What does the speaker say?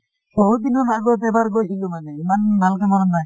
বহুত দিনৰ আগত এবাৰ গৈছিলো মানে ইমান ভালকে মনত নাই।